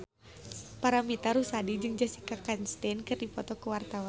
Paramitha Rusady jeung Jessica Chastain keur dipoto ku wartawan